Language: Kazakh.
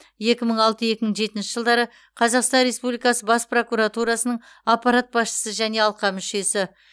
екі мың алты екі мың жетінші жылдары қазақстан республикасы бас прокуратурасының аппарат басшысы және алқа мүшесі